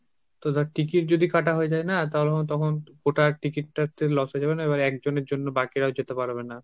তো দেখ ticket যদি কাটা হয়ে যায় না তাহলেও তখন গোটা ticket টা হচ্ছে loss হয়ে যাবে না, এবার একজনের জন্যে বাকিরাও যেতে পারবে না।